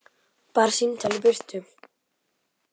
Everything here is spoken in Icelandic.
Bara símtal í burtu.